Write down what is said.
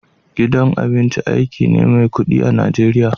Gidan abinci aiki ne mai kudi a'Nijeriya.